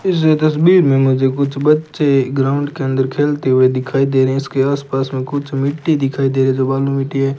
इस तस्वीर में मुझे कुछ बच्चे ग्राउंड के अंदर खेलते हुए दिखाई दे रे हैं इसके आसपास में कुछ मिट्टी दिखाई दे री है जो बालू मिट्टी है।